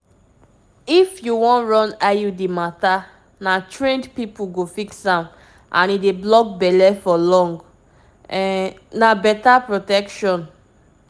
to put iud na real trained health workers go run am and um e go help um you skip that everyday pill wahala actually!